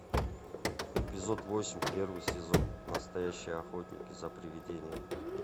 эпизод восемь первый сезон настоящие охотники за привидениями